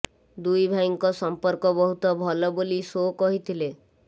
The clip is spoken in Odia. ଦୁଇ ଭାଇଙ୍କ ସଂପର୍କ ବହୁତ ଭଲ ବୋଲି ସୋ କହିଥିଲେ